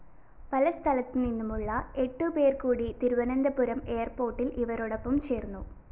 പല സ്ഥലത്തുനിന്നുമുള്ള എട്ടുപേര്‍കൂടി തിരുവനന്തപുരം എയര്‍പോര്‍ട്ടില്‍ ഇവരോടൊപ്പം ചേര്‍ന്നു